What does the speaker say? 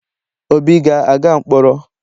Obi ga-aga mkpọrọ?